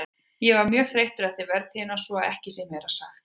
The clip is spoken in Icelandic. Ég var mjög þreyttur eftir vertíðina svo að ekki sé meira sagt.